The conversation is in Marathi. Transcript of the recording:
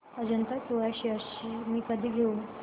अजंता सोया शेअर्स मी कधी घेऊ